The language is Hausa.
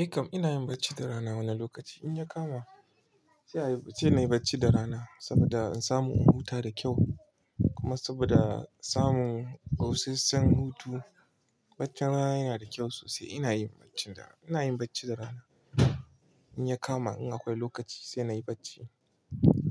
Eh kam ina yin bacci da rana wani lokaci in ya kama sai ayi sai na yi bacci da rana saboda in samu in huta da kyau. Kuma saboda samun busasshen hutu, baccin rana yana da kyau sosai. Ina yin bacci da rana, ina yin bacci da rana in ya kama in akwai lokaci sai na yi bacci